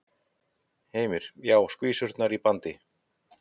Heimir: Já, skvísurnar og bandið?